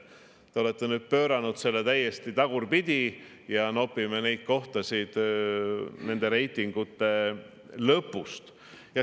Te olete nüüd pööranud selle täiesti tagurpidi ja me nopime kohtasid reitingute lõpust.